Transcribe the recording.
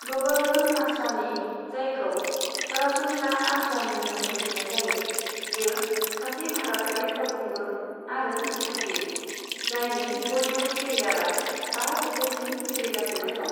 ग'बर्धन आसरानी, जायखौ सरासनस्रा आसरानी मुङै मिथिनाय जायो, बियो सासे भारतारि फावखुंगुर आरो दिथागिरि, जायनि बलिउद केरियारा बा जिथाइसिम सोलिगासिनो दं।